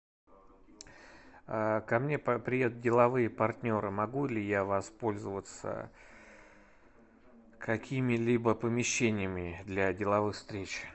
ко мне приедут деловые партнеры могу ли я воспользоваться какими либо помещениями для деловых встреч